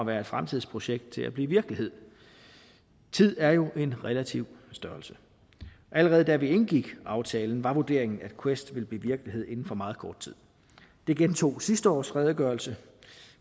være et fremtidsprojekt til at blive virkelighed tid er jo en relativ størrelse allerede da vi indgik aftalen var vurderingen at quest ville blive virkelighed inden for meget kort tid det gentog sidste års redegørelse